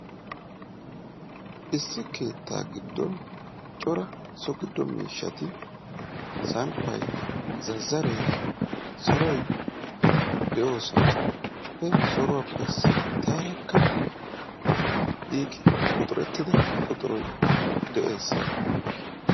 Issi keettaa giddon cora so giddo miishshati smppay, zazzaree, soroy de'oosona. He soruwappe sinttaarakka giigi uttida quxuroy de'ees.